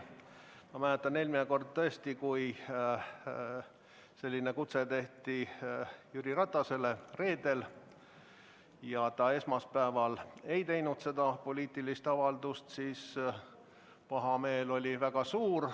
Ma mäletan, eelmine kord tõesti oli nii, et kui selline kutse esitati Jüri Ratasele reedel ja ta esmaspäeval ei teinud seda poliitilist avaldust, siis pahameel oli väga suur.